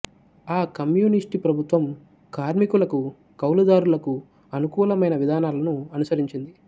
ఆ కమ్యూనిస్టు ప్రభుత్వం కార్మికులకు కౌలుదారులకు అనుకూలమైన విధానాలను అనుసరించింది